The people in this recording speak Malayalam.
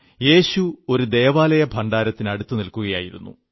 യേശു ഒരു ദേവാലയ ഭണ്ഡാരത്തിനടുത്തു നില്ക്കുകയായിരുന്നു